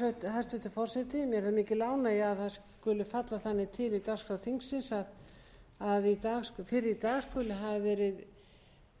hæstvirtur forseti mér er það mikil ánægja að það skuli falla þannig til í dagskrá þingsins að fyrr í dag skuli hafa verið